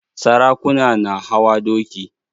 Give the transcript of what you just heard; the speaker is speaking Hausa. Sarakuna na hawa doki